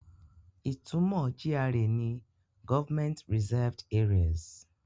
Ìtumọ̀ GRA ni Government Reserved Areas.